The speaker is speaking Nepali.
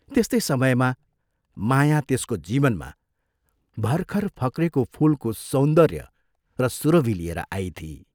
त्यस्तै समयमा माया त्यसको जीवनमा भर्खर फक्रेको फूलको सौन्दर्य र सुरभि लिएर आइथी।